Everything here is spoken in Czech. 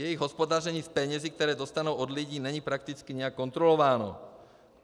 Jejich hospodaření s penězi, které dostanou od lidí, není prakticky nijak kontrolováno.